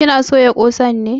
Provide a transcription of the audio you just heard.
Ki na soya ƙosan ne?